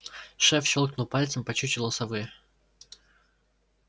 шеф щёлкнул пальцем по чучелу совы